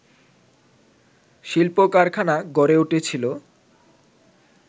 শিল্প কারখানা গড়ে উঠেছিলো